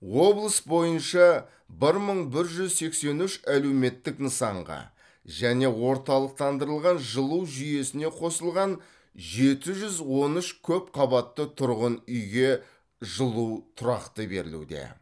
облыс бойынша бір мың бір жүз сексен үш әлеуметтік нысанға және орталықтандырылған жылу жүйесіне қосылған жеті жүз он үш көпқабатты тұрғын үйге жылу тұрақты берілуде